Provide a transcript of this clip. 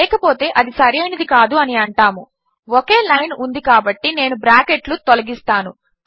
లేకపోతే అది సరైనది కాదు అని అంటాము ఒకే లైన్ ఉంది కాబట్టి నేను బ్రాకెట్లు తొలగిస్తాను